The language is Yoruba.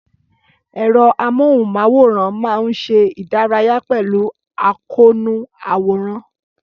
Ẹ̀rọ amóhùnmáwòrán máa ń ṣe ìdárayá pẹ̀lú àkóónú àwòrán.